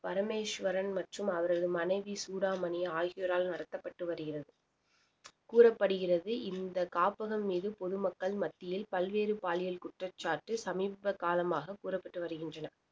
பரமேஸ்வரன் மற்றும் அவரது மனைவி சூடாமணி ஆகியோரால் நடத்தப்பட்டு வருகிறது கூறப்படுகிறது இந்த காப்பகம் மீது பொதுமக்கள் மத்தியில் பல்வேறு பாலியல் குற்றச்சாட்டு சமீப காலமாக கூறப்பட்டு வருகின்றன